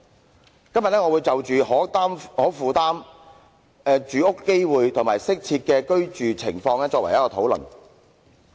我今天將會就可負擔、公平住屋機會及適合居住進行討論。